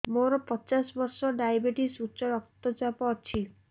ମୋର ପଚାଶ ବର୍ଷ ଡାଏବେଟିସ ଉଚ୍ଚ ରକ୍ତ ଚାପ ଅଛି